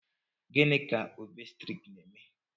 Gịnị ka òbstètrịk na-eme